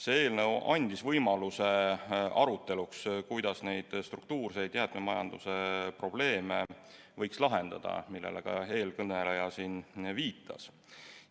See eelnõu andis võimaluse aruteluks, kuidas neid struktuurseid jäätmemajanduse probleeme, millele ka eelkõneleja viitas, võiks lahendada.